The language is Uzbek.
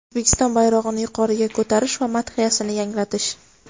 O‘zbekiston bayrog‘ini yuqoriga ko‘tarish va madhiyasini yangratish.